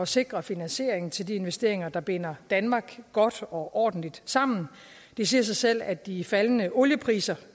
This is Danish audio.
sikre finansieringen til de investeringer der binder danmark godt og ordentligt sammen det siger sig selv at de faldende oliepriser